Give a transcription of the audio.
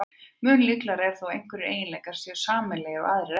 Mun líklegra er þó að einhverjir eiginleikar séu sameiginlegir og aðrir ekki.